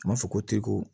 A m'a fɔ ko teko